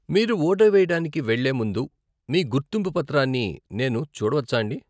మీరు ఓటె వెయ్యడానికి వెళ్లే ముందు మీ గుర్తింపు పత్రాన్ని నేను చూడవచ్చాండీ?